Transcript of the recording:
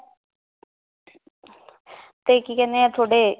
ਤੇ ਕੀ ਕਹਿੰਦੇ ਏ ਤੁਹਾਡੇ